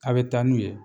A' bɛ taa n'u ye